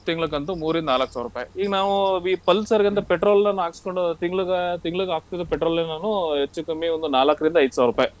ತಿಂಗ್ಳ್ ಕಂತು ಮೂರಿಂದ ನಾಲಕ್ ಸಾವ್ರುಪೈ. ಈಗ್ ನಾವೂ ಈ Pulsar ಗ್ ಅಂದ್ರೆ petrol ನ ನಾನ್ ಹಾಕ್ಸ್ಕೊಂಡ್ ತಿಂಗ್ಳ್ಗ ತಿಂಗ್ಳ್ಗ ಹಾಕ್ಸೋದ್ petrol ನಾನು ಹೆಚ್ಚು ಕಮ್ಮಿ ಒಂದ್ ನಾಲ್ಕ್ರಿಂದ ಐದ್ ಸಾವ್ರುಪೈ.